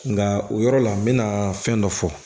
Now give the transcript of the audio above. Nka o yɔrɔ la n bɛna fɛn dɔ fɔ